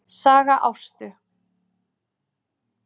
Saga Ástu